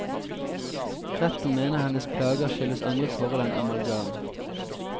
Retten mener hennes plager skyldes andre forhold enn amalgam.